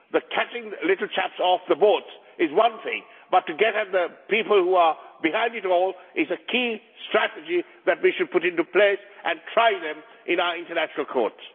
Catching little chaps off the boats is one thing, but to get at the people who are behind it all is a key strategy that we should put into place, to try them in our international courts.